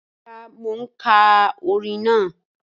Rara, mo n ka ọ̀rìn naa.